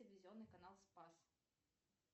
телевизионный канал спас